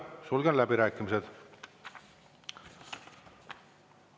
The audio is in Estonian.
Sulgen läbirääkimised.